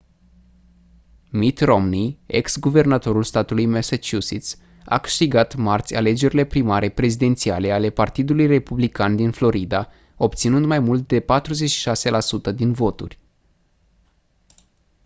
mitt romney ex-guvernatorul statului massachusetts a câștigat marți alegerile primare prezidențiale ale partidului republican din florida obținând mai mult de 46 la sută din voturi